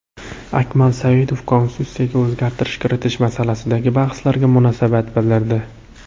Akmal Saidov Konstitutsiyaga o‘zgartish kiritish masalasidagi bahslarga munosabat bildirdi.